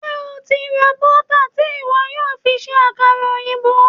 Ṣé o ti ra bọ́tà tí ìwọ yóò fi ṣe àkàrà òyìnbó?